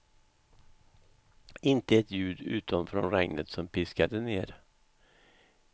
Inte ett ljud, utom från regnet som piskade ner.